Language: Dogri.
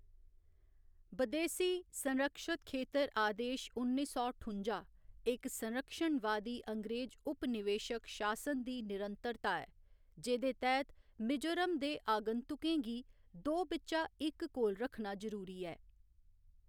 बदेसी, संरक्षत खेतर आदेश उन्नी सौ ठुं'जा, इक संरक्षणवादी अंग्रेज उपनिवेशक शासन दी निरंतरता ऐ, जेह्‌दे तैह्‌‌‌त मिजोरम दे आगंतुकें गी दो बिच्चा इक कोल रक्खना जरूरी ऐ।